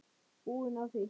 Búin á því.